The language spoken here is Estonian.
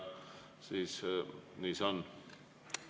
Nii see on.